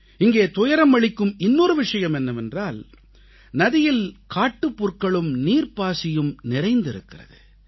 இங்கே துயரம் அளிக்கும் இன்னொரு விஷயம் என்னவென்றால் நதியில் காட்டுப்புற்களும் நீர்ப்பாசியும் நிறைந்திருக்கிறது